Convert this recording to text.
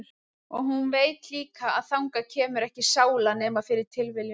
Og hún veit líka að þangað kemur ekki sála nema fyrir tilviljun.